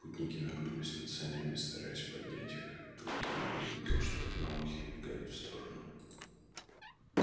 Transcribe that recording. путники нагнулись над санями стараясь поднять их как вдруг генри увидел что одноухий убегает в сторону